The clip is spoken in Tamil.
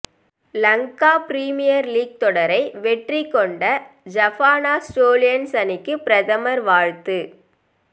லங்கா பிரீமியர் லீக் தொடரை வெற்றிகொண்ட ஜஃப்னா ஸ்டேலியன்ஸ் அணிக்கு பிரதமர் வாழ்த்து